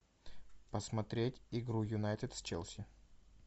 посмотреть игру юнайтед с челси